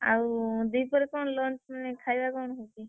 ଆଉ ଦିପହରେ କଣ lunch ମାନେ ଖାଇବା କଣ ହେଇଛି?